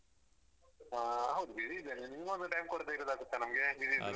ಹಾ ಹೌದು busy ಇದ್ದೇನೆ ನಿಮ್ಗೊಂದು time ಕೊಡದಿದ್ರೆ ಆಗುತ್ತಾ ನಮ್ಗೆ busy ಇದ್ರು.